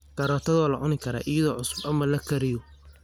Karootadu waa la cuni karaa iyada oo cusub ama la kariyo.